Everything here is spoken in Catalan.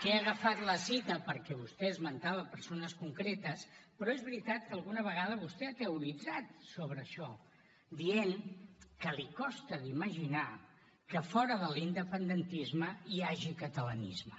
que he agafat la cita perquè vostè esmentava persones concretes però és veritat que alguna vegada vostè ha teoritzat sobre això dient que li costa d’imaginar que fora de l’independentisme hi hagi catalanisme